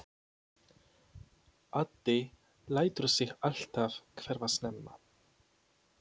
Addi lætur sig alltaf hverfa snemma.